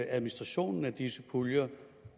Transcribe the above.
at administrationen af disse puljer